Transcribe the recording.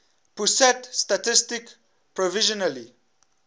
pusat statistik provisionally